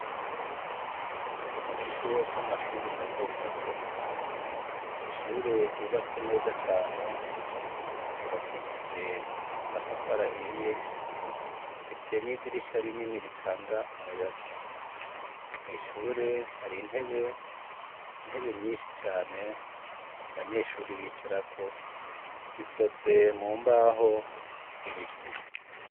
Mu kigo c' amashure matomato, ishure ryubatswe neza cane ryubakishij' amatafar' ahiye, rifise n' idirisha rinini ritang' umuyaga mw ishure hari intebe; intebe nyinshi cane abanyeshure bicarako zikozwe mu mbaho z,ibiiti.